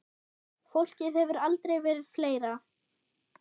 Fólkið hefur aldrei verið fleira.